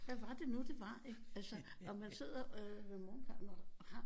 Hvad var det nu det var ikke altså og man sidder øh med morgenkaffen